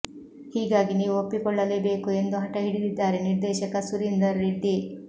ಹೀಗಾಗಿ ನೀವು ಒಪ್ಪಿಕೊಳ್ಳಲೇಬೇಕು ಎಂದು ಹಠ ಹಿಡಿದಿದ್ದಾರೆ ನಿರ್ದೇಶಕ ಸುರೀಂದರ್ ರೆಡ್ಡಿ